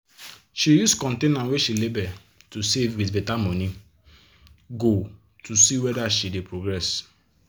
she use container wey she label to save with better money goal to see whether she dey progress.